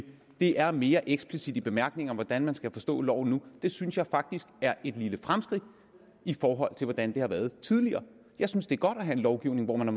det er mere eksplicit i bemærkningerne hvordan man skal forstå loven nu synes jeg faktisk er et lille fremskridt i forhold til hvordan det har været tidligere jeg synes det er godt at have en lovgivning hvor man